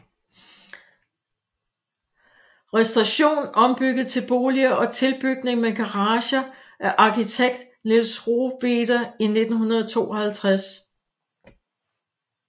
Restauration ombygget til boliger og tilbygning med garager af arkitekt Niels Rohweder i 1952